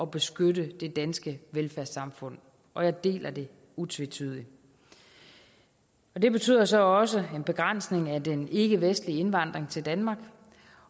beskytte det danske velfærdssamfund og jeg deler det utvetydigt det betyder så også en begrænsning af den ikkevestlige indvandring til danmark